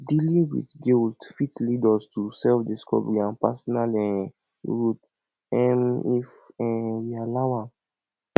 dealing with guilt fit lead us to selfdiscovery and personal um um if um we allow am